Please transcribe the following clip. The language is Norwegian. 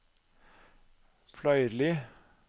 Fløyrli